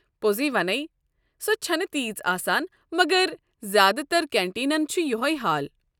پوٚزٕے ونے، سۄ چھنہٕ تژھ آسان مگر زیٛادٕ تر کنٹیٖنن چھُ یۄہے حال۔